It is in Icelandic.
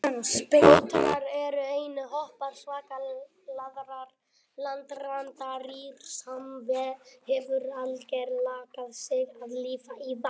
Otrar eru eini hópur svokallaðra landrándýra sem hefur algerlega lagað sig að lífi í vatni.